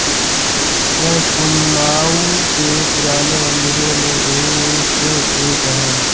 यह कुंमाऊं के पुराने मंदिरों में से एक है